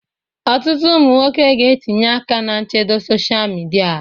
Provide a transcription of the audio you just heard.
Ọtụtụ ụmụ nwoke ga-etinye aka na nchedo sosia midia.